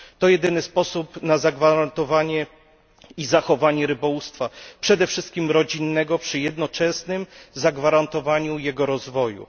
To jedyny sposób na zagwarantowanie i zachowanie rybołówstwa, przede wszystkich rodzinnego, przy jednoczesnym zagwarantowaniu jego rozwoju.